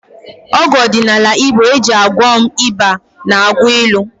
Ọgwụ ọdịnala Igbo e ji gwọọ m ịba na-akụ ilu